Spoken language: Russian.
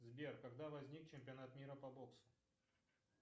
сбер когда возник чемпионат мира по боксу